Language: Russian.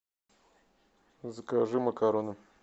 закажи макароны